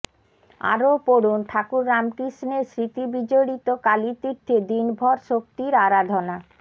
আরও পড়ুন ঠাকুর রামকৃষ্ণের স্মৃতিবিজড়িত কালীতীর্থে দিনভর শক্তির আরাধনা